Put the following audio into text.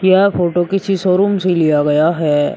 यह फोटो किसी शोरूम से लिया गया है।